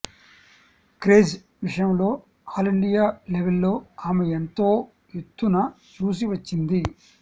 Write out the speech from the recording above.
craze విషయంలో all India లెవల్లో ఆమె ఎంతో ఎత్తును చూసి వచ్చింది